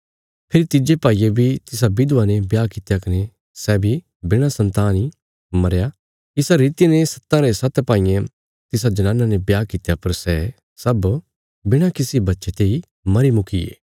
फेरी तिज्जे भाईये बी तिसा विधवा ने ब्याह कित्या कने सै बी बिणा संतान इ मरया इसा रितिया ने सत्तां रे सत्त भाईयें तिसा जनाना ने ब्याह कित्या पर सै सब बिणा किसी बच्चे तेई मरी मुकीये